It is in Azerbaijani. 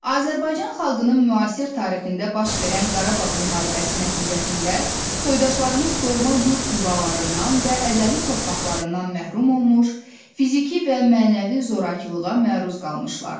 Azərbaycan xalqının müasir tarixində baş verən Qarabağ müharibəsi nəticəsində soydaşlarımız doğma yurd yuvalarından və əzəli torpaqlarından məhrum olmuş, fiziki və mənəvi zorakılığa məruz qalmışlar.